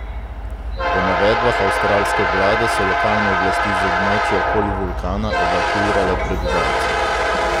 Po navedbah avstralske vlade so lokalne oblasti z območja okoli vulkana evakuirale prebivalce.